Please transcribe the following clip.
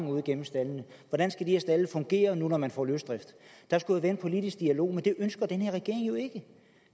ud gennem stalden hvordan skal de her stalde fungere når man får løsdrift der skulle være en politisk dialog men det ønsker den her regering jo ikke